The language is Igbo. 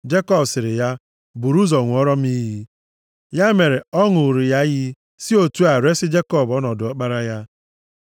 Jekọb sịrị ya, “Buru ụzọ ṅụọrọ m iyi.” Ya mere, ọ ṅụụrụ ya iyi, sị otu a resi Jekọb ọnọdụ ọkpara ya.